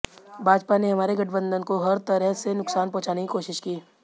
भाजपा ने हमारे गठबंधन को हर तरह से नुकसान पहुंचाने की कोशिश की